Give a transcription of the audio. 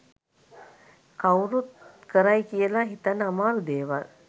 කවුරුත් කරයි කියලා හිතන්න අමාරු දේවල්.